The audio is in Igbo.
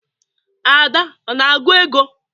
Ada na-agụ ego?